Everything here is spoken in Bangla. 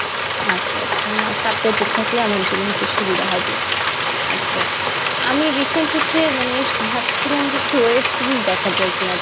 আচ্ছা আচ্ছা না subtitle থাকলে আমার জন্যে হচ্ছে সুবিধা হবে আচ্ছা, আমি recent হচ্ছে মানে ভাবছিলাম যে কিসু Web Series দেখাযায় কি না